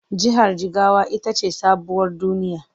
Jihar Jigawa ita ce sabuwar duniya.